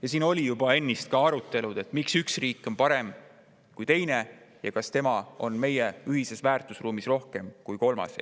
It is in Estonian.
Ja siin juba ennist oli ka arutelu selle üle, miks üks riik on parem kui teine ja kas ta on meie ühises väärtusruumis rohkem kui kolmas.